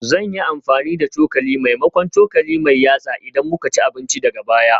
Zan yi amfani da cokali maimakon cokali mai yatsa idan muka ci abinci daga baya